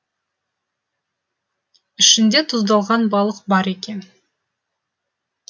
ішінде тұздалған балық бар екен